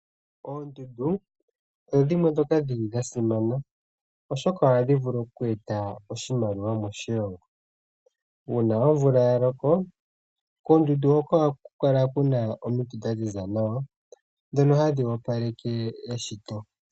Oondundu odho dhimwe dhoka dhili dhasimana oshoka ohadhi vulu oku eta oshimaliwa moshilongo , uuna omvula yaloko koondundu hoka ohaku kala kuna omiti dhaziza nawa dhoka hadhi opaleke eshito.